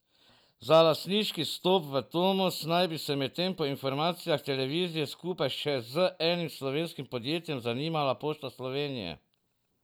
Za lastniški vstop v Tomos naj bi se medtem po informacijah televizije skupaj še z enim slovenskim podjetjem zanimala Pošta Slovenije.